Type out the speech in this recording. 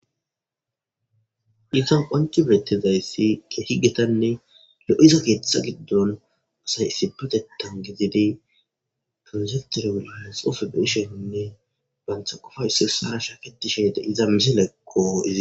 isan qanci birettezayssi e higetanne le7iso keeththa giddon asay isibetetan gezedey transetere wulaha sofe besheinne bantha qofaysos harasha keti shede iza misileekqo iza